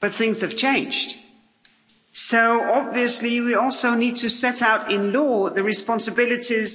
But things have changed, so obviously we also need to set out in law the responsibilities